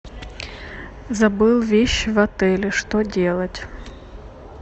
забыл вещи в отеле что делать